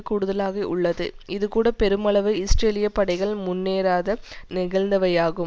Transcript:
கூடுதலாக உள்ளது இதுகூட பெருமளவு இஸ்ரேலிய படைகள் முன்னேறாத நிகழ்ந்தவையாகும்